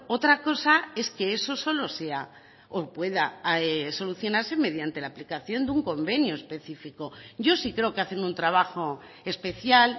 otra cosa es que eso solo sea o pueda solucionarse mediante la aplicación de un convenio específico yo sí creo que hacen un trabajo especial